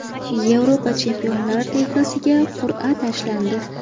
Yevropa Chempionlar ligasiga qur’a tashlandi.